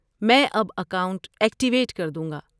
میں اب account activate کر دوں گا۔